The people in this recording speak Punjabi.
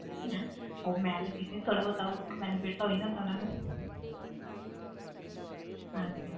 ਹਮ ਉਹ ਮੈਂ ਲੱਗੀ ਸੀ ਥੋੜ੍ਹਾ ਬਹੁਤਾ benefit ਤਾਂ ਹੋ ਹੀ ਜਾਂਦਾ ਉਹਨਾਂ ਨੂੰ ਹਾਂ